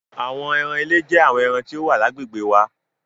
Àwọn ẹran ilé jẹ́ àwọn ẹran tí ó wà lágbègbè wa.